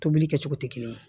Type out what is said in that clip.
Tobili kɛ cogo tɛ kelen ye